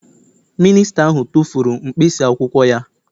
Mịnịsta ahụ tụfuru mkpịsị akwụkwọ ya